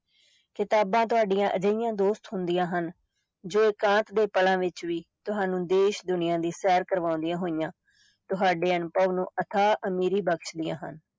ਕਿਤਾਬਾਂ ਤੁਹਾਡੀਆਂ ਅਜਿਹੀਆਂ ਦੋਸਤ ਹੁੰਦੀਆਂ ਹਨ ਜੋ ਇਕਾਂਤ ਦੇ ਪਲਾਂ ਵਿੱਚ ਵੀ ਤੁਹਾਨੂੰ ਦੇਸ ਦੁਨੀਆਂ ਦੀ ਸੈਰ ਕਰਵਾਉਂਦੀਆਂ ਹੋਈਆਂ ਤੁਹਾਡੇ ਅਨੁਭਵ ਨੂੰ ਅਥਾਹ ਅਮੀਰੀ ਬਖ਼ਸ਼ਦੀਆਂ ਹਨ।